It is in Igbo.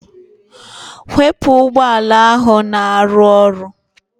Waipa ụgbọala ahụ na-arụ ọrụ